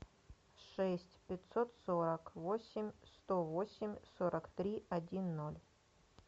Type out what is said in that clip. шесть пятьсот сорок восемь сто восемь сорок три один ноль